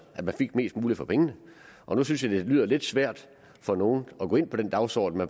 at man fik mest muligt for pengene nu synes jeg det lyder lidt svært for nogle at gå ind på den dagsorden